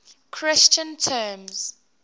christian terms